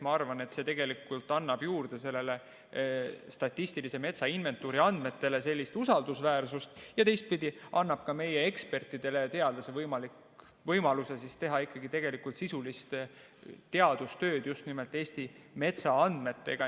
Ma arvan, et see annab statistilise metsainventuuri andmetele juurde usaldusväärsust ja teistpidi annab ka meie ekspertidele, teadlastele võimaluse teha ikkagi sisulist teadustööd just nimelt Eesti metsaandmetega.